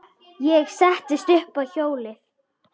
Ég settist upp á hjólið.